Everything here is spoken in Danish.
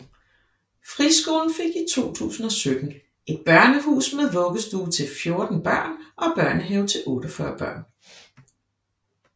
Friskolen fik i 2017 et børnehus med vuggestue til 14 børn og børnehave til 48 børn